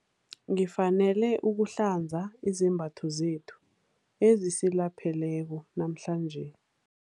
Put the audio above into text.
Ngifanele ukuhlanza izembatho zethu ezisilapheleko namhlanje.